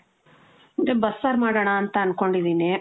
ಅದೆ ಬಸ್ಸಾರ್ ಮಾಡಣ ಅಂತ ಅಂದ್ಕೊಂಡಿದೀನಿ.